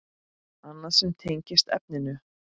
Annað sem tengist efninu